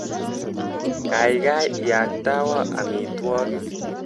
Kaikai iaktawa amitwogik.